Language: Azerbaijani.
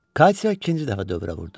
Katya ikinci dəfə dövrə vurdu.